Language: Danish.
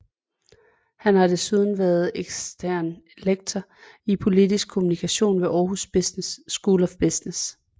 Han har desuden været ekstern lektor i politisk kommunikation ved Aarhus School of Business